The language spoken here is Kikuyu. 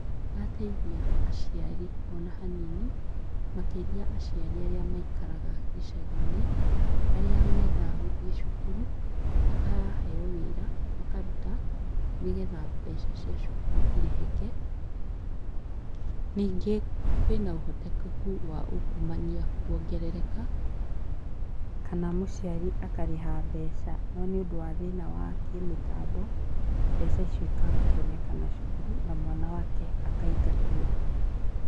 Ndĩrateithia aciari ona hanini makĩria aciari aria maikaraga gĩcagiinĩ, arĩa menda gũthiĩ cukuru makaheo wĩra makaruta nĩgetha mbeca cia cukuru irĩhĩke ningĩ kwĩna ũhotekeku wa ungumania kwongerereka kana mũciari akarĩha mbeca no nĩũndũ wa thĩna wa kĩmitambo mbeca icio cikaga kwonekana cukuru na mwana wake akaingatwo.